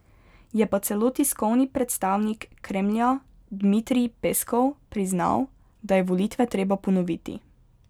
Je pa celo tiskovni predstavnik Kremlja Dmitrij Peskov priznal, da je volitve treba ponoviti.